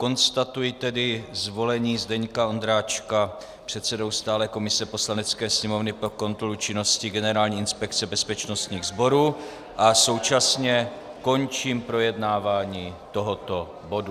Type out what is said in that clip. Konstatuji tedy zvolení Zdeňka Ondráčka předsedou stálé komise Poslanecké sněmovny pro kontrolu činnosti Generální inspekce bezpečnostních sborů a současně končím projednávání tohoto bodu.